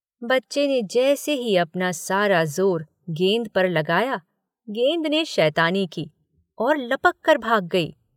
बच्चे ने जैसे ही अपना सारा जोर गेंद पर लगाया, गेंद ने शैतानी की और लपककर भाग गयी।